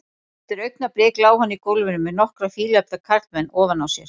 Eftir augnablik lá hann í gólfinu með nokkra fíleflda karlmenn ofan á sér.